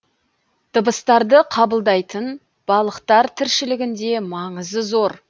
дыбыстарды қабылдайтын балықтар тіршілігінде маңызы зор